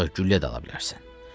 Ancaq güllə də ala bilərsən.